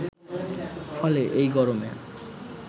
ফলে এই গরমে